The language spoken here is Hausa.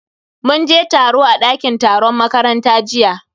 Mun je taro a dakin taron makaranta jiya.